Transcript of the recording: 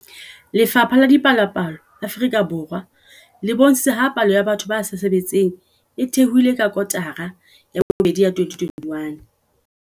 Lefapha la Dipalopalo Afrika Borwa le bontshitse ha palo ya batho ba sa sebetseng e theohile ka kotara ya bobedi ya 2021.